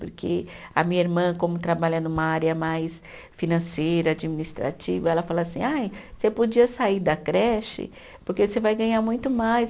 Porque a minha irmã, como trabalha numa área mais financeira, administrativa, ela fala assim, ai você podia sair da creche, porque você vai ganhar muito mais.